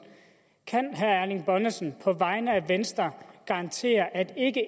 kan herre erling bonnesen på vegne af venstre garantere at ikke